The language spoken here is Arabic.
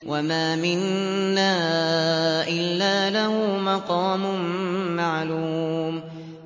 وَمَا مِنَّا إِلَّا لَهُ مَقَامٌ مَّعْلُومٌ